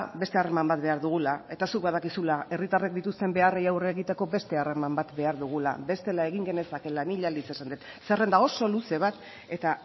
beste harreman bat behar dugula eta zuk badakizula herritarrek dituzten beharrei aurre egiteko beste harreman bat behar dugula bestela egin genezakeela mila aldiz esan dut zerrenda oso luze bat eta